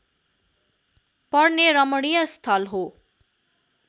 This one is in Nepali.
पर्ने रमणीय स्थल हो